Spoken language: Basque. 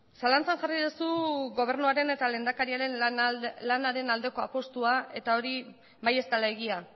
zalantzan jarri duzu gobernuaren eta lehendakariaren lanaren aldeko apustua eta hori bai ez dela egia